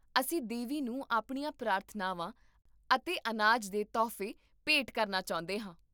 ਅਸੀਂ ਦੇਵੀ ਨੂੰ ਆਪਣੀਆਂ ਪ੍ਰਾਰਥਨਾਵਾਂ ਅਤੇ ਅਨਾਜ ਦੇ ਤੋਹਫ਼ੇ ਭੇਟ ਕਰਨਾ ਚਾਹੁੰਦੇ ਹਾਂ